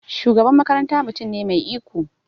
Shugaban makaranta mutum ne mai iko.